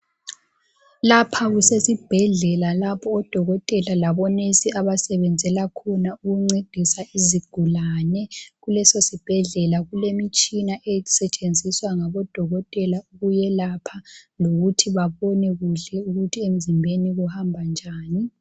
Lapha kusesibhedlela lapho odokotela labonesi abasebenzela khona ukuncedisa izigulane. Kuleso sibhedlela kulemitshina esetshenziswa ngabodokotela ukuyelapha lokuthi babone kuhle ukuthi emzimbeni kuhamba njani.